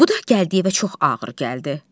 Bu da Gəldiyevə çox ağır gəldi.